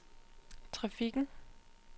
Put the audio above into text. trafikken